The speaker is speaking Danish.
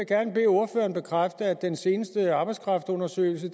gerne bede ordføreren bekræfte at den seneste arbejdskraftundersøgelse